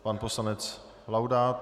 Pan poslanec Laudát.